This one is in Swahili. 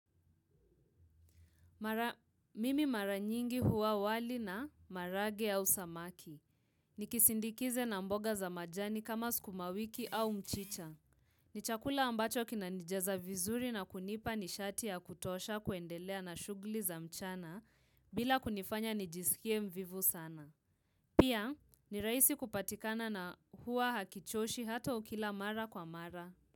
Mimi mara nyingi hula wali na maharage au samaki. Nikisindikize na mboga za majani kama sukuma wiki au mchicha. Ni chakula ambacho kinanijaza vizuri na kunipa nishati ya kutosha kuendelea na shughuli za mchana, bila kunifanya nijisikie mvivu sana. Pia, ni rahisi kupatikana na huwa hakichoshi hata ukila mara kwa mara.